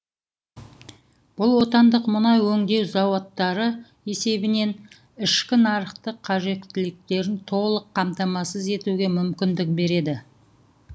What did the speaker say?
бұл отандық мұнай өңдеу зауыттары есебінен ішкі нарықтың қажеттіліктерін толық қамтамасыз етуге мүмкіндік береді